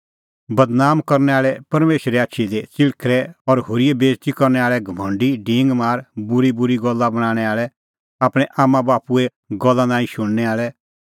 बदनाम करनै आल़ै परमेशरे आछी दी च़िल़्हखरै और होरीए बेइज़ती करनै आल़ै घमंडी डींगमार बूरीबूरी गल्ला बणांणैं आल़ै आपणैं आम्मांबाप्पूए गल्ला नांईं शुणनै आल़ै